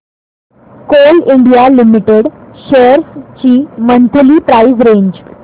Coal India Limited shares ची monthly price range